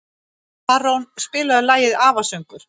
Tarón, spilaðu lagið „Afasöngur“.